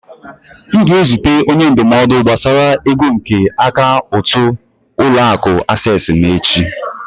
M na-ezute onye ndụmọdụ gbasara ego nke akaụntụ ụlọ akụ acesịị m echi.